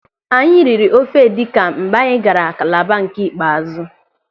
Anyị riri ofe edikan mgbe anyị gaara Kalaba nke ikpeazụ.